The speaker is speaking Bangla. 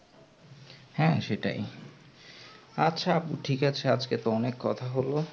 হ্যাঁ সেটাই আচ্ছা আপু ঠিক আছে তো অনেক কথা হলো